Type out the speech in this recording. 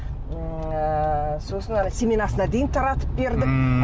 м ыыы сосын ана семенасына дейін таратып бердік ммм